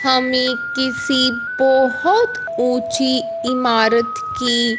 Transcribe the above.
हमें किसी बहोत ऊंची इमारत की--